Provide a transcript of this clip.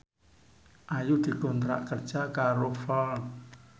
Ayu dikontrak kerja karo Ford